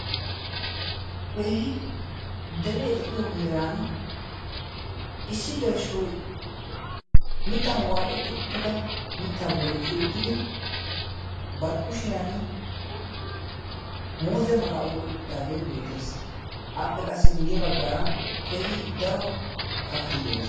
kehi deree de7iyo heeran issi gelshshoi mittan waaxetti uttida mittaa bollikkii uttidi barkkushiyan muuze mala7oiqqi uttidaagee beetees appe qassi guyye baggaara kehi daro kakati de7oos